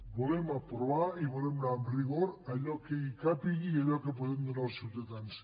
volem aprovar i volem anar amb rigor a allò que hi càpiga i a allò que podem donar als ciutadans